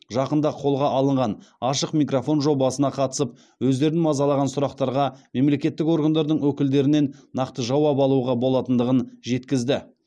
жақында қолға алынған ашық микрофон жобасына қатысып өздерін мазалаған сұрақтарға мемлекеттік органдардың өкілдерінен нақты жауап алуға болатындығын жеткізді